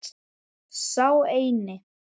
Sá eini.